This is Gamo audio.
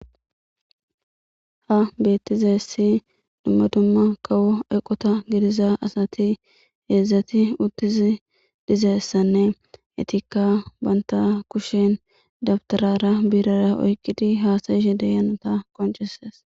Ha beettizessi dumma dumma kawo eqota gidiza asati heedzdzati uttizi dizeessanne etikka banta kushen dabtarara biirara oyqidi haasayishe deyanota qonceses.